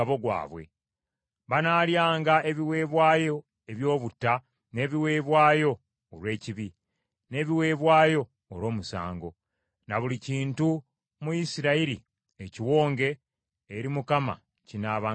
Banaalyanga ebiweebwayo eby’obutta, n’ebiweebwayo olw’ekibi, n’ebiweebwayo olw’omusango, ne buli kintu mu Isirayiri ekiwonge eri Mukama kinaabanga kyabwe.